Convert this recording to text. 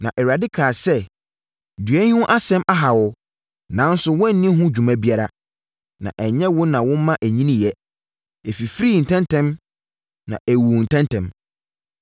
Na Awurade kaa sɛ, “Dua yi ho asɛm aha wo, nanso woanni ho dwuma biara, na ɛnyɛ wo na woma ɛnyiniiɛ. Ɛfifirii ntɛm ntɛm na ɛwuu ntɛm ntɛm.